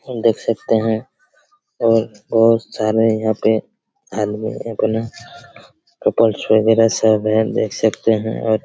और देख सकते हैं और बहुत सारे यहाँ पे आदमी देख सकते हैं आप--